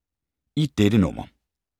I dette nummer